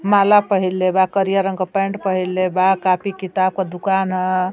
माला पहिंले बा करिये रंग का पेण्ट पहिंले बा कॉपी किताब का दुकान है।